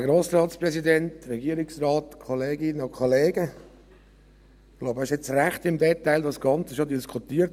Ich glaube, das Ganze wurde bereits ziemlich im Detail diskutiert.